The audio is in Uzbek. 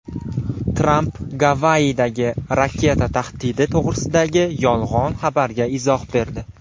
Tramp Gavayidagi raketa tahdidi to‘g‘risidagi yolg‘on xabarga izoh berdi.